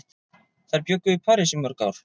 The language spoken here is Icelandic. Þær bjuggu í París í mörg ár.